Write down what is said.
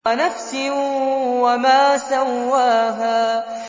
وَنَفْسٍ وَمَا سَوَّاهَا